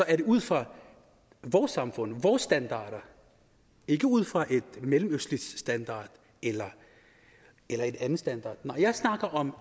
er det ud fra vores samfund og vores standard og ikke ud fra en mellemøstlig standard eller eller en anden standard når jeg snakker om